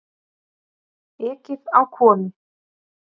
Ekið á konu